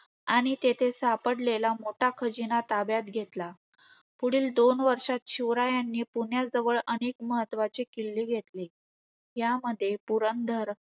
आणि तेथे सापडलेला मोठा खजिना ताब्यात घेतला. पुढील दोन वर्षात शिवरायांनी पुण्याजवळ अनेक महत्वाचे किल्ले घेतले. यामध्ये पुरंदर,